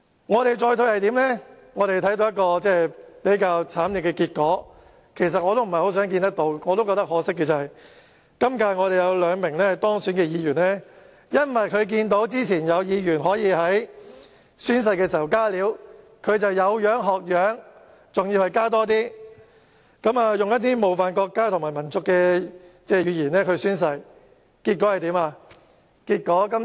我們已看到一個慘烈的結果——其實我也對此感到可惜——今屆有兩名當選議員因為看到之前有議員可以在宣誓時"加料"，他們便有樣學樣，而且"加多一些"，使用冒犯國家和民族的言詞宣誓，結果怎樣呢？